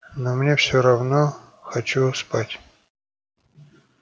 но мне все равно хочу спать